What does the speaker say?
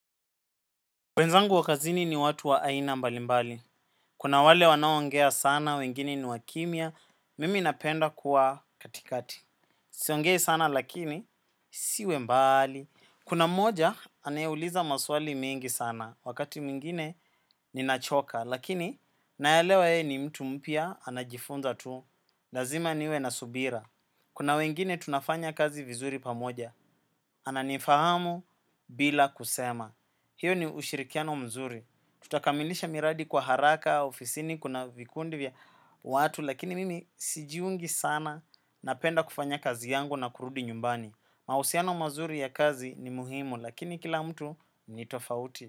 Wenzangu wakazini ni watu wa aina mbalimbali. Kuna wale wanawongea sana, wengine ni wakimia. Mimi napenda kuwa katikati. Siongei sana lakini, siwe mbali. Kuna mmoja, anayeuliza maswali mingi sana. Wakati muingine, ninachoka. Lakini, nayalewa ye ni mtu mpia, anajifunza tu. Lazima niwe nasubira. Kuna wengine, tunafanya kazi vizuri pamoja. Ananifahamu bila kusema. Hiyo ni ushirikiano mzuri. Tutakamilisha miradi kwa haraka, ofisini, kuna vikundi vya watu, lakini mimi sijiungi sana napenda kufanya kazi yangu na kurudi nyumbani. Mausiano mazuri ya kazi ni muhimu, lakini kila mtu ni tofauti.